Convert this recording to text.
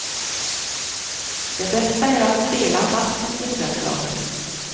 Det bästa är att spela natten till söndagen.